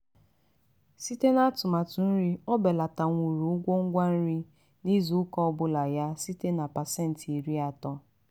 site n'atumatụ nri o belatanwuru ụgwọ ngwa nri ya izu ụka ọbụla ya site na pasenti iri atọ.